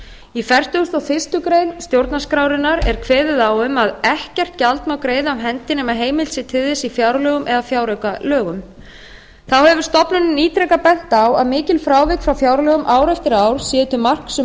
í fertugustu og fyrstu grein stjórnarskrárinnar er kveðið á um að ekkert gjald má greiða af hendi nema heimild sé til þess í fjárlögum eða fjáraukalögum þá hefur stofnunin ítrekað bent á að mikil frávik frá fjárlögum ár eftir ár séu til marks um